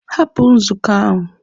Hapụ nzukọ ahụ!